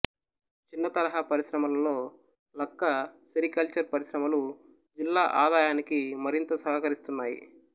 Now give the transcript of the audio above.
చిన్నతరహా పరిశ్రమలలో లక్క సెరికల్చర్ పరిశ్రమలు జిల్లా ఆదాయానికి మరింత సహకరిస్తున్నాయి